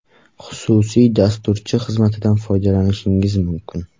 Xususiy dasturchi xizmatidan foydalanishingiz mumkin.